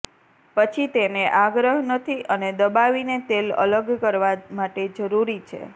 પછી તેને આગ્રહ નથી અને દબાવીને તેલ અલગ કરવા માટે જરૂરી છે